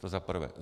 To za prvé.